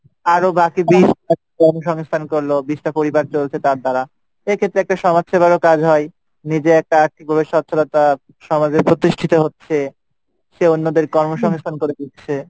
আরও বাকি বিশ জমি সংস্থান করলো বিশটা পরিবার চলছে তার দ্বারা এক্ষেত্রে একটা সমাজ সেবারও কাজ হয় নিজে একটা আর্থিকভাবে সচ্ছলতা আমাদের প্রতিষ্ঠিত হচ্ছে, অন্যদের কর্ম